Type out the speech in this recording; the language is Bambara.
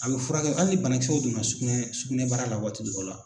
A bɛ furakɛ hali banakisɛw donna sugunɛ sugunɛbara la waati dɔ la.